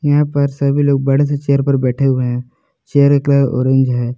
यहां पर सभी लोग बड़े से चेयर पर बैठे हुए हैं चेयर का कलर ऑरेंज है।